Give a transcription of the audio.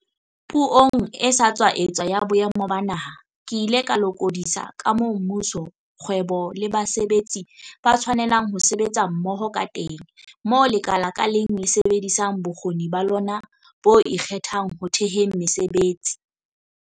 Puong e sa tswa etswa ya Boemo ba Naha, ke ile ka lokodisa ka moo mmuso, kgwebo le basebetsi ba tshwanelang ho sebetsa mmoho kateng, moo lekala ka leng le sebedisang bokgoni ba lona bo ikgethang ho theheng mesebetsi.